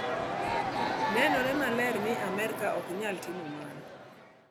Nenore maler ni Amerka ok nyal timo mano.